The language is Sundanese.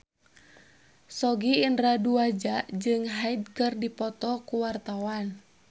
Sogi Indra Duaja jeung Hyde keur dipoto ku wartawan